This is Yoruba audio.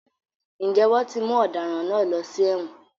Ǹjẹ́ wọ́n ti mú ọ̀daràn náà lọ sí èwọ̀n?